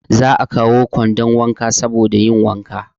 Za a kawo kwandon wanka saboda yin wanka.